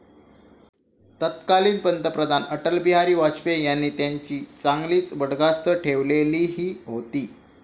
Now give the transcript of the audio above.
तत्कालीन पंतप्रधान अटलबिहारी वायपेयी यांनी त्यांची चांगलीच बडदास्त ठेवलेली होती.